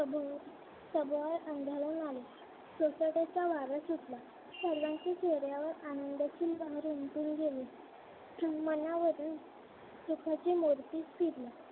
सगळं अंधाळून आलं. सोसाट्याचा वारा सुटला. सर्वांच्या चेहऱ्यावर आनंदाची लहर उमटून गेली. मनावरून सुखाचे मोरपीस फिरली.